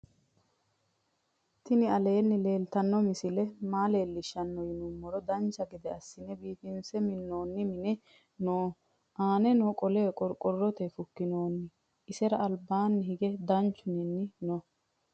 tini alwni lwltano misile malelishano yii numoro dancha geede asine biifinse minoni minni noo. annani qole qorqorotebni fukinoni. isira albani hige danchu ninni noo.